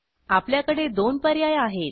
आपल्याकडे दोन पर्याय आहेत